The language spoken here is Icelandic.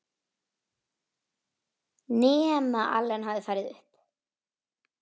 Nema Allen hafi farið upp.